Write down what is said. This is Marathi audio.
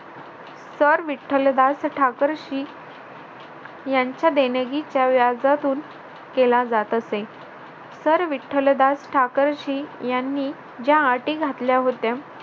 सर विठ्ठलदास ठाकरसी यांच्या देणगीच्या व्याजातून केला जात असे. सर विठ्ठलदास ठाकरसी यांनी ज्या अटी घातल्या होत्या